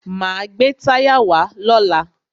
Máa gbé táyà wá lọ́la.